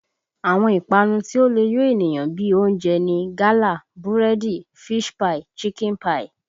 Àwọn ìpanu tí ó le yo ènìyàn bí i oúnjẹ ni gálà, búrẹ́dì, fish pie, chicken pie